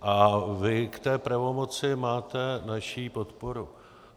A vy k té pravomoci máte naši podporu.